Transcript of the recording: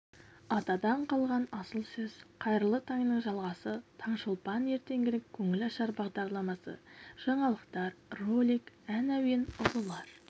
атадан қалған асыл сөз қайырлы таңның жалғасы таңшолпан ертеңгілік көңілашар бағдарламасы жаңалықтар ролик ән әуен ұлылар